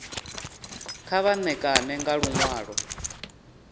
kha vha ṋekane nga luṅwalo